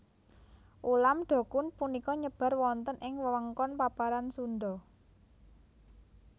Ulam dokun punika nyebar wonten ing wewengkon paparan Sunda